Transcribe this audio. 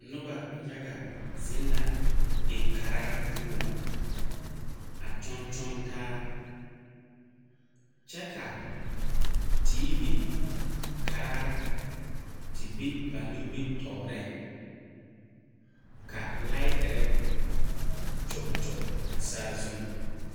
Noba yaga zeŋ la dikaraa poɔŋ, a kyɔŋ kyɔŋ taa kyɛ ka TV karaa te be ba nimitɔreŋ, ka lightire kyɔge kyɔge a sazuŋ.